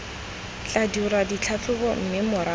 tla dirwa ditlhatlhobo mme morago